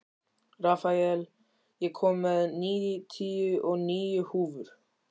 Rafael, ég kom með níutíu og níu húfur!